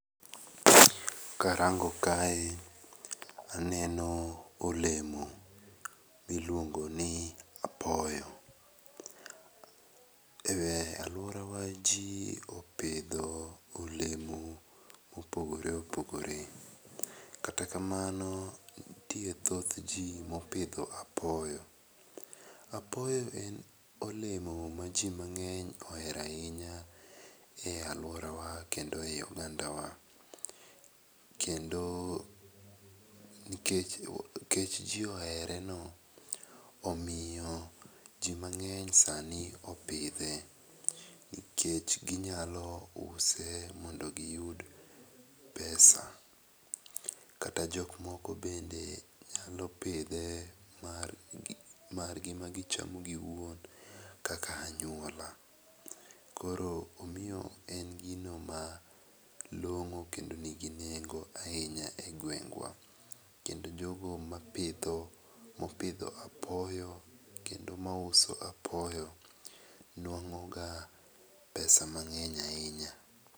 Ka arango kae to aneno olemo mi iluongo ni apoyo. E aluora wa ji opidho olemo ma opogore opogore kata kamano nitie thoth ji ma opidho apoyo. Apoyo en olemo ma ji mangeny ohero ainya e aluora kendo e i oganda kendo nikech kech ji ohere no omiyo ji mangeny sani opidhe nikech gi nyalo use mondo gi yud pesa. Kata jo moko be nyalo pidhe mar gi ma gi chamo gi wuon kaka anyuola. Koro omiyo en gino ma long'o kendo ni gi nego ainya e gweng wa. kendo jo go ma pidho ,ma opidho apoyo kendo ma uso apoyo nwango ga pesa mangeny ainya.